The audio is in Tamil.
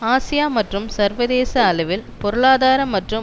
ஆசியா மற்றும் சர்வதேச அளவில் பொருளாதார மற்றும்